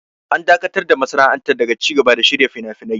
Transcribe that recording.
An dakatar da masana'antar daga cigaba da shirya finafinai.